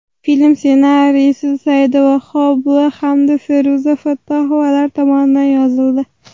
Film ssenariysi Saida Vahobova hamda Feruza Fattohovalar tomonidan yozildi.